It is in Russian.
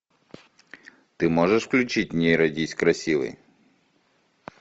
ты можешь включить не родись красивой